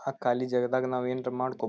ಆಹ್ಹ್ ಖಾಲಿ ಜಾಗದಂಗ ನಾವು ಏನಾದ್ರು ಮಾಡ್ಕೋ--